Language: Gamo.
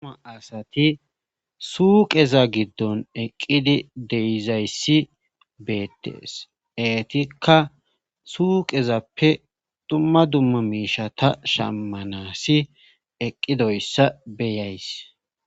Uma asati suuqeza giddon eqqidi deizayssi beettees eetikka suuqezappe dumma dumma miisha ta shammanasi eqqidoyssa beyays